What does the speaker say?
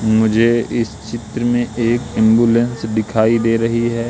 मुझे इस चित्र में एक एंबुलेंस दिखाई दे रही है।